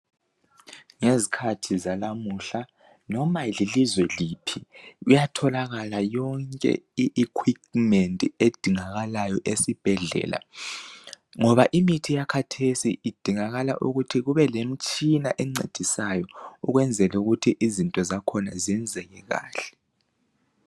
Ngezikhathi zalamuhla loba lilizwe liphi kuyatholakala yonke i equipment edingakala ezibhedlela ngoba imithi yakhathesi kudingakala ukuthi kubelemitshina encedisayo ukwenzela ukuthi izinto zakhona zenzeke kahle.